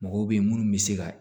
Mɔgɔw bɛ yen minnu bɛ se ka